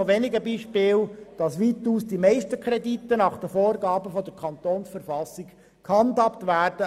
Sie sehen also anhand dieser Beispiele, dass es zwar Ausnahmen gibt, aber die meisten Kredite nach den Vorgaben der Kantonsverfassung gehandhabt werden.